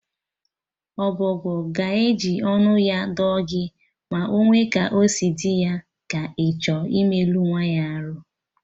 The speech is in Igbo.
Ọbọgwụ ga-eji ọnụ ya dụọ gị ma onwe ka osi dị ya, ka ịchọ imelụ nyanwa arụ